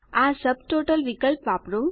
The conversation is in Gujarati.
આ સબટોટલ વિકલ્પ વાપરો